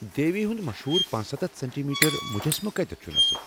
دیوی ہنٛد مشہوٗر پنَ ستتھ سینٹی میٹر مُجسمہٕ کتیٚتھ چھُ نصب؟